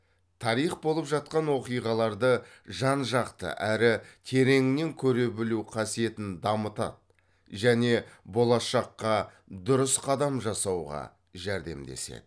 тарих болып жатқан оқиғаларды жан жақты әрі тереңінен көре білу қасиетін дамытады және болашаққа дұрыс қадам жасауға жәрдемдеседі